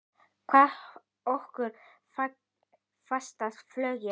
Hvar hefur okkur fatast flugið?